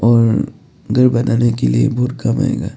और घर बनाने के लिए बुर कब आएगा।